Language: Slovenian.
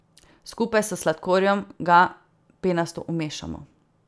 Skupaj s sladkorjem ga penasto umešamo.